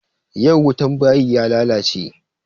Yau wutan bayin ya lalace.